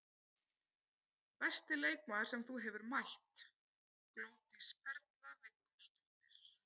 Besti leikmaður sem þú hefur mætt: Glódís Perla Viggósdóttir.